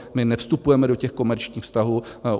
My nevstupujeme do těch komerčních vztahů.